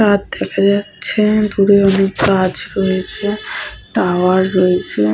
ছাদ দেখা যাচ্ছে। দূরে অনেক গাছ রয়েছে টাওয়ার রয়েছে।